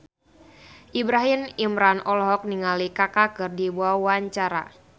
Ibrahim Imran olohok ningali Kaka keur diwawancara